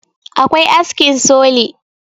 akwai askin soli